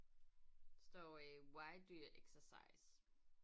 Står øh why do you exercise?